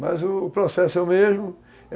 Mas o processo é o mesmo.